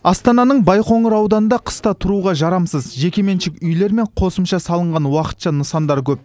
астананың байқоңыр ауданында қыста тұруға жарамсыз жекеменшік үйлер мен қосымша салынған уақытша нысандар көп